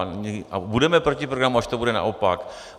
A budeme proti programu, až to bude naopak.